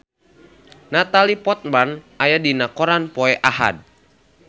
Natalie Portman aya dina koran poe Ahad